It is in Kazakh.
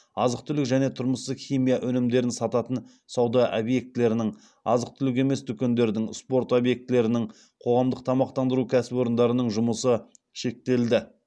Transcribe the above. азық түлік және тұрмыстық химия өнімдерін сататын сауда объектілерінің азық түлік емес дүкендердің спорт объектілерінің қоғамдық тамақтандыру кәсіпорындарының жұмысы шектелді